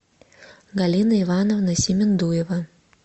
галина ивановна семендуева